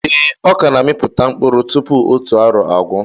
Ee, ọkà na amiputa mkpụrụ tupu otu arọ agwụ